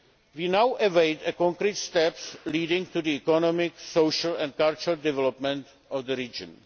We now await concrete steps leading to the economic, social and cultural development of the region.